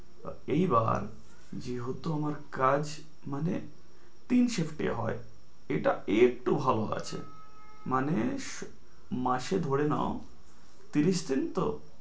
এইবার যে হতো আমার কাজ মানে তিন shift এ হয়, এটা একটু ভালো আছে মানে মাসে ধরে নাও তিরিশ দিন তো?